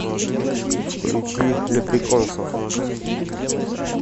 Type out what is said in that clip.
включи леприконсов